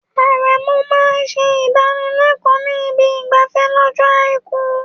Aremeu máa ń ṣe ìdánilẹ́kọ̀ọ́ ní ibi ìgbafẹ́ lọ́jọ́ Àìkú.